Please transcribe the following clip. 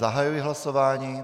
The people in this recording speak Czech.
Zahajuji hlasování.